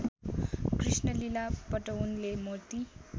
कृष्णलीला पटउनले मोती